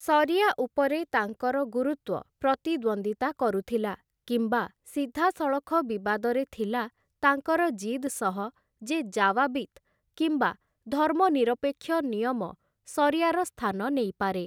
ସରିଆ ଉପରେ ତାଙ୍କର ଗୁରୁତ୍ୱ ପ୍ରତିଦ୍ୱନ୍ଦ୍ୱିତା କରୁଥିଲା, କିମ୍ବା ସିଧାସଳଖ ବିବାଦରେ ଥିଲା ତାଙ୍କର ଜିଦ୍‌ ସହ ଯେ ଜାୱାବିତ୍ କିମ୍ବା ଧର୍ମନିରପେକ୍ଷ ନିୟମ ସରିଆର ସ୍ଥାନ ନେଇପାରେ ।